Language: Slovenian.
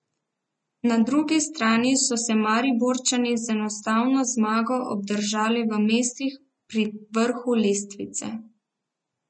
Na drugi strani so se Mariborčani z enajsto zmago obdržali v mestih pri vrhu lestvice.